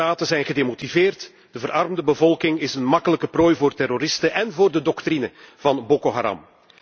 Soldaten zijn gedemotiveerd en de verarmde bevolking is een makkelijke prooi voor terroristen en voor de doctrine van Boko Haram.